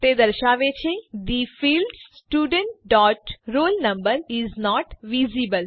તે દર્શાવે છે the field student dot roll number is not visible